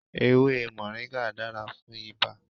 Ewe Moringa dara fún ibà.